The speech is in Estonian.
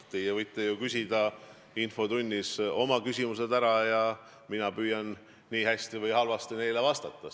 Teie võite ju infotunnis oma küsimused ära küsida ja mina püüan nii hästi või halvasti, kui oskan, neile vastata.